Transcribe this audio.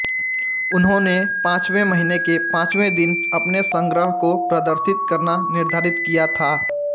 उन्होंने पांचवें महीने के पांचवें दिन अपने संग्रह को प्रदर्शित करना निर्धारित किया था